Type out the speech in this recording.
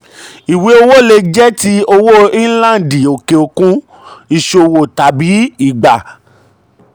ìwé owó lè jẹ́ ti owó inlandi òkè òkun ìṣòwò tàbí ìgbà.